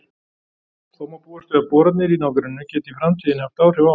Þó má búast við að boranir í nágrenninu geti í framtíðinni haft áhrif á hana.